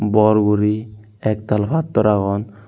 bor guri ek dal padtor agon.